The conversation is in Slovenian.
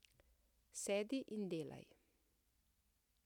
Sedi in delaj.